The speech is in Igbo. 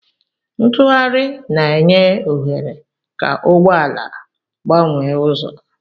Ntugharị na-enye ohere ka ụgbọ ala gbanwee ụzọ.